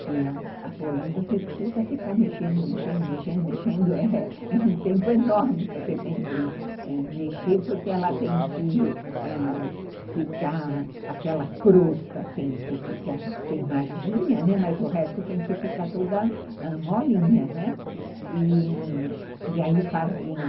que a polenta, você precisa ficar mexendo, mexendo, mexendo, mexendo, é um tempo enorme que você tem que mexer, porque ela tem que ãh ficar aquela crosta, assim, que fica queimadinha, né, mas o resto tem que ficar toda molinha, né, e aí faziam